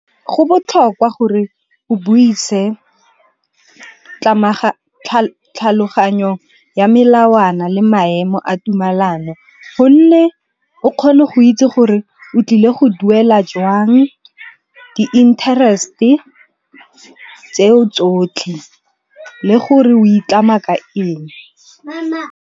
Go botlhokwa gore o buise tlhaloganyo ya melawana le maemo a tumelano, gonne o kgone go itse gore o tlile go duela jwang di-interest-e tseo tsotlhe le gore o itlamela ka eng.